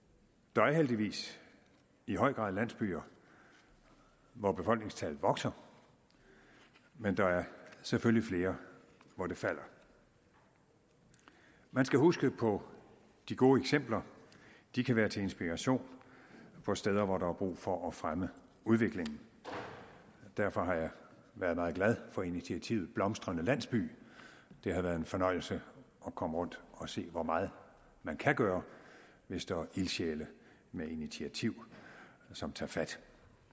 der er heldigvis i høj grad landsbyer hvor befolkningstallet vokser men der er selvfølgelig flere hvor det falder man skal huske på de gode eksempler de kan være til inspiration for steder hvor der er brug for at fremme udviklingen derfor har jeg været meget glad for initiativet blomstrende landsby det har været en fornøjelse at komme rundt og se hvor meget man kan gøre hvis der er ildsjæle med initiativ som tager fat